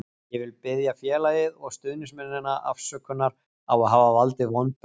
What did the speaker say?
Ég vil biðja félagið og stuðningsmennina afsökunar á að hafa valdið vonbrigðum.